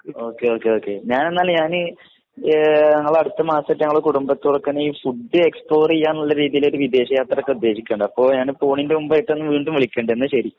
okay okay ഞങ്ങള് അടുത്താൻസറ്റം ഞങൾ കുടുബത്തോടൊപ്പം ഫുഡ് എക്സ്പ്ലോർ ചെയ്യാനുള്ള രീതിയിൽ ഒരു വിദേശ യാത്രയൊക്കെ ഉദ്ദേശിക്കുണ്ട് അപ്പൊ ഞാൻ പൊന്നിന്റെ മുമ്പായിട്ട് ഞാൻ നിന്നെ വീടും വിളിക്കനുണ്ട് എന്ന ശരി